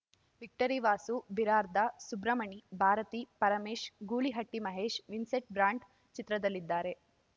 victory Vasu Birarda Subramani Bharati Paramesh ಗೂಳಿಹಟ್ಟಿಮಹೇಶ್‌ Vincent brand ಚಿತ್ರದಲ್ಲಿದ್ದಾರೆ